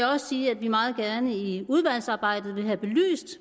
også sige at vi meget gerne i udvalgsarbejdet vil have belyst